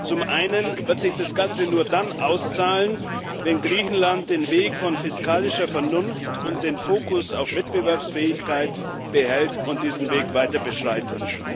Zum einen wird sich das Ganze nur dann auszahlen, wenn Griechenland den Weg von fiskalischer Vernunft und den Fokus auf Wettbewerbsfähigkeit behält und diesen Weg weiter beschreitet.